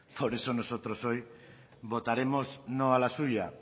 por eso nosotros hoy votaremos no a la suya